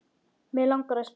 Mig langar að spyrja þig.